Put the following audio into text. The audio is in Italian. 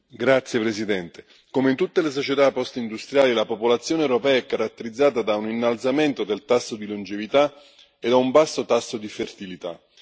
Signor Presidente, onorevoli colleghi, come in tutte le società postindustriali, la popolazione europea è caratterizzata da un innalzamento del tasso di longevità e da un basso tasso di fertilità.